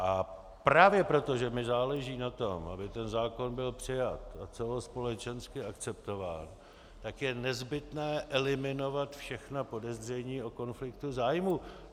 A právě proto, že mi záleží na tom, aby ten zákon byl přijat a celospolečensky akceptován, tak je nezbytné eliminovat všechna podezření o konfliktu zájmů.